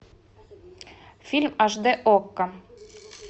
фильм аш д окко